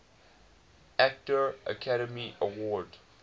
actor academy award